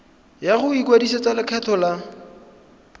ya go ikwadisetsa lekgetho la